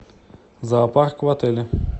зоопарк в отеле